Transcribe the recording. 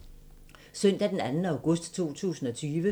Søndag d. 2. august 2020